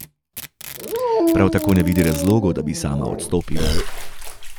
Prav tako ne vidi razlogov, da bi sama odstopila.